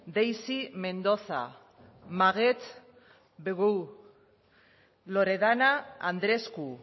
deisy mendoza maget bobeau loredana andresku